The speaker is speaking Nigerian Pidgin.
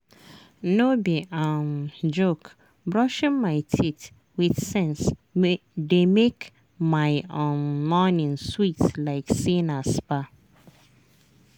no be um joke brushing my teeth with sense dey make my um morning sweet like say na spa.